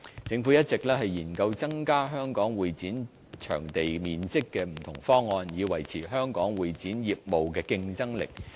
政府一直研究增加香港會展場地面積的不同方案，以維持香港會展業務的競爭力。